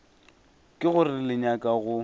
ke gore le nyaka go